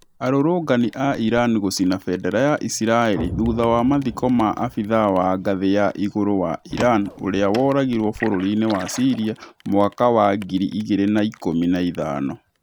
Arũrũngani a Iran gũcina bendera ya isiraĩri thutha wa mathiko ma abitha wa ngathĩ ya igũrũ wa Iran ũria woragirwo bũrũri-inĩ wa Syria mwaka wa ngiri igĩrĩ na ikũmi na ithano